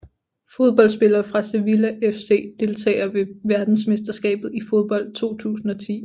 Fodboldspillere fra Sevilla FC Deltagere ved verdensmesterskabet i fodbold 2010